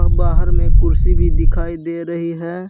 बाहर में कुर्सी भी दिखाई दे रही है।